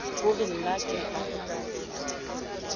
ho re na ke a